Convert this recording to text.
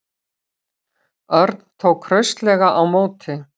Örn tók hraustlega á móti.